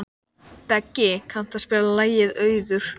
Beggi, kanntu að spila lagið „Auður“?